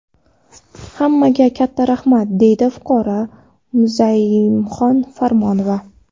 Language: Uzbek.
Hammaga katta rahmat”, – deydi fuqaro Muzayamxon Farmonova.